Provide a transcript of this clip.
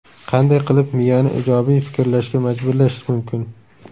Qanday qilib miyani ijobiy fikrlashga majburlash mumkin?.